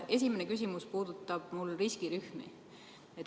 Esimene küsimus puudutab riskirühmi.